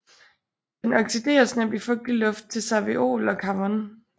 Den oxideres nemt i fugtig luft til carveol og carvon